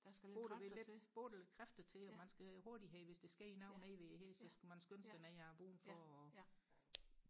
bruge lidt bruge lidt kræfter til og man skal hurtigt have hvis der sker noget nede ved hestene så skal man skynde sig ned og bom for og